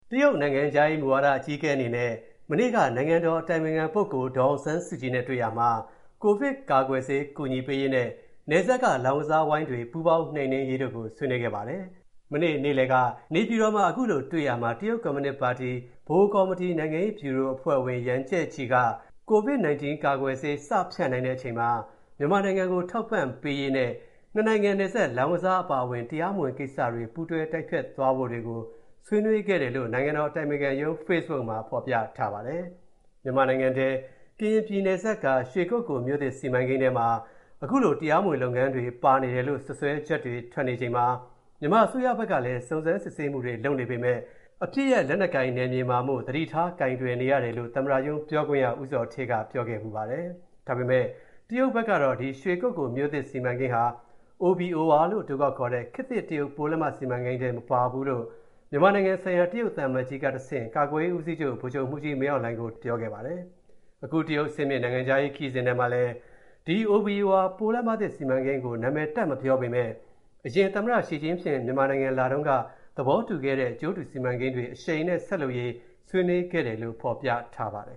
တရုတ် နိုင်ငံခြားရေးမူဝါဒ အကြီးအကဲအနေနဲ့ မနေ့က နိုင်ငံတော် အတိုင်ပင်ခံပုဂ္ဂိုလ် ဒေါ်အောင်ဆန်းစုကြည်နဲ့ တွေ့ရာမှာ၊ ကိုဗစ်ကာကွယ်ဆေး ကူညီပေးရေးနဲ့ နယ်စပ်က လောင်းကစားဝိုင်းတွေ ပူးပေါင်းနှိမ်နင်းရေးတို့ကို ဆွေးနွေးခဲ့ပါတယ်။ မနေ့ နေ့လည်က နေပြည်တော်မှာတွေ့ရာမှာ တရုတ်ကွန်မြူနစ်ပါတီ ဗဟိုကော်မတီ နိုင်ငံရေးဗျူရိုအဖွဲ့ဝင် Yang Jiechi က ကိုဗစ်-၁၉ ကာကွယ်ဆေး စဖြန့်နိုင်တဲ့အချိန်မှာ မြန်မာနိုင်ငံကို ထောက်ပံ့သွားရေးနဲ့ နှစ်နိုင်ငံနယ်စပ် လောင်းကစားအပါအဝင် တရားမဝင်ကိစ္စတွေကို ပူးတွဲတိုက်ဖျက်သွားတွေကို ဆွေးနွေးခဲ့တယ်လို့ နိုင်ငံတော်အတိုင်ပင်ခံရုံး Facebook မှာ ဖော်ပြထားပါတယ်။ မြန်မာနိုင်ငံထဲ ကရင်ပြည်နယ်စပ်က စီမံကိန်းထဲမှာ အခုလို တရားမဝင်လုပ်ငန်းတွေ ပါနေတယ်လို့ စွတ်စွဲချက်တွေထွက်နေချိန်မှာ မြန်မာအစိုးရဘက်ကလည်း စုံစမ်းစစ်ဆေးမူတွေလုပ်နေပေမဲ့ အပစ်ရပ် လက်နက်ကိုင်နယ်မြေမှာမို့ သတိထား ကိုင်တွယ်နေရတယ်လို့ သမ္မတရုံးပြောခွင့်ရ ဦးဇော်ဌေးက ပြောခဲ့ဖူးပါတယ်။ ဒါပေမဲ့ တရုတ်ဘက်ကတော့ ဒီရွှေကုက္ကိုလ်မြို.သစ်စီမံကိန်းဟာ OBOR လို့အတိုခေါက်ခေါ်တဲ့ ခေတ်သစ်တရုတ်ပိုးလမ်းမစီမံကိန်း ထဲမှာ မပါဘူးလို့၊ မြန်မာနိုင်ငံဆိုင်ရာ တရုတ်သံအမတ်ကြီးကတဆင့် ကာကွယ်ရေးဦးစီးချုပ် ဗိုလ်ချုပ်မှူးကြီးမင်းအောင်လှိုင်ကို ဇူလိုင်လလယ်ထဲ ပြောခဲ့ပါတယ်။ အခု တရုတ်အဆင့်မြင့် နိုင်ငံခြားရေးခရီးစဉ်ထဲမှာလည်း ဒီ OBOR ပိုးလမ်းမသစ်စီမံကိန်းကို နာမည်တပ်မပြောပေမဲ့၊ အရင် သမ္မတ ရှီဂျင်းဖျင့် မြန်မာနိုင်ငံလာတုန်းက သဘောတူခဲ့တဲ့ အကျိုးတူစီမံကိန်းတွေ အရှိန်နဲ့ ဆက်လုပ်ရေးလည်း ဆွေးနွေးခဲ့တယ်လို့ ဖော်ပြထားပါတယ်